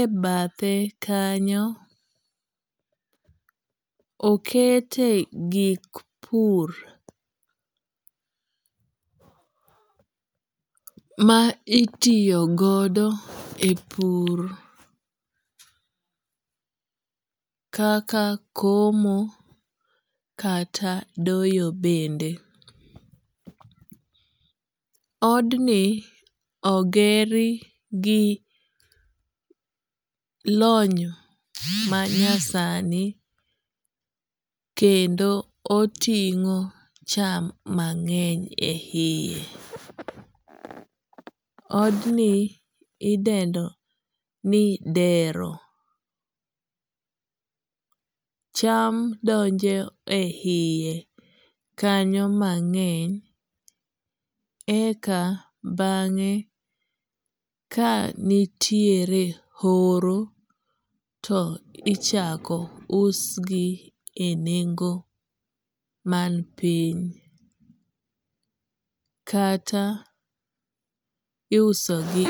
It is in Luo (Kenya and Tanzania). e bathe kanyo okete gik pur ma itiyo godo e pur kaka komo kata doyo bende. Od ni oger gi lony ma nyasani kendo oting'o cham mang'eny e yie. Od ni idendo ni dero. Cham donjo e yie kanyo mang'eny. Eka bang'e ka nitiere horo to ichako us gi e nengo man piny. Kata iuso gi.